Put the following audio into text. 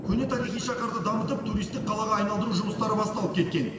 көне тарихи шаһарды дамытып туристік қалаға айналдыру жұмыстары басталып кеткен